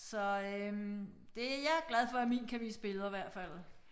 Så øh det jeg glad for at min kan vise billeder hvert fald